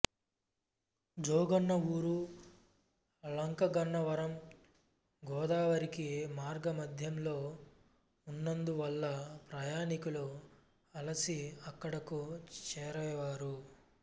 జోగన్న ఊరు లంకగన్నవరం గోదావరికి మార్గమధ్యంలో ఉన్నందు వల్ల ప్రయాణీకులు అలసి అక్కడకు చేరేవారు